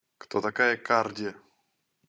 кто такая карди